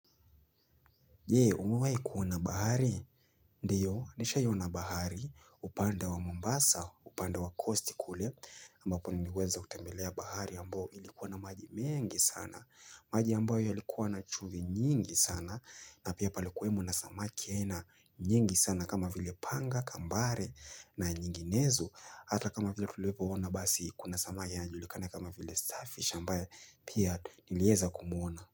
Je, umewai kuona bahari? Ndio, nishaiona bahari, upande wa mombasa, upande wa kosti kule. Ambapo niliweza kutembelea bahari ambao ilikua na maji mengi sana. Maji ambayo yalikuwa na chumvi nyingi sana. Na pia palikuwemo na samaki aina nyingi sana kama vile panga, kambare na nyinginezo. Ata kama vile tulipoona basi kuna samaki yanajulikana kama vile starfish ambaye pia nilieza kumwona.